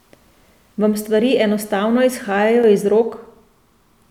Vam stvari enostavno izhajajo iz rok?